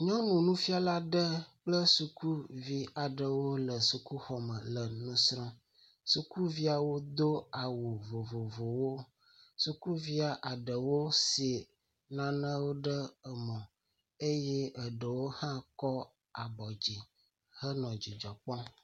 Nyɔnu nufiala aɖe kple sukuvi aɖewo le sukuxɔ me le nu srɔ̃m. Sukuviawo do awu vovovowo, sukuvia aɖewo si nanewo ɖe emo eye eɖew hã kɔ abɔ dzi henɔ dzidzɔ kpɔm.